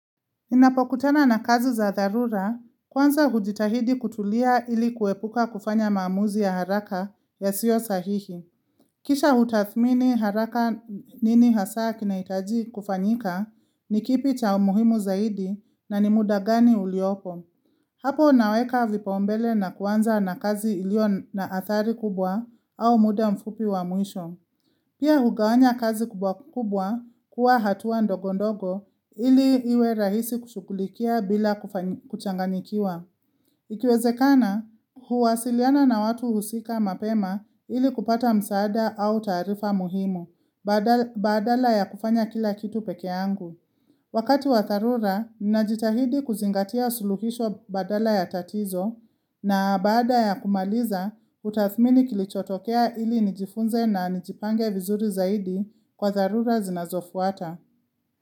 Ninapokutana na kazi za dharura, kwanza hujitahidi kutulia ili kuepuka kufanya maamuzi ya haraka yasiyo sahihi. Kisha hutathmini haraka nini hasa kinahitaji kufanyika ni kipi cha umuhimu zaidi na ni muda gani uliopo. Hapo naweka vipaumbele na kuanza na kazi ilio na adhari kubwa au muda mfupi wa mwisho. Pia hugawanya kazi kubwa kubwa kuwa hatua ndogo ndogo ili iwe rahisi kushughulikia bila kuchanganikiwa. Ikiwezekana, huwasiliana na watu husika mapema ili kupata msaada au taarifa muhimu, badala ya kufanya kila kitu pekee yangu. Wakati wa dharura, ninajitahidi kuzingatia suluhisho badala ya tatizo na baada ya kumaliza hutathmini kilichotokea ili nijifunze na nijipange vizuri zaidi kwa dharura zinazofuata.